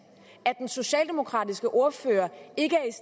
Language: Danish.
at den socialdemokratiske ordfører ikke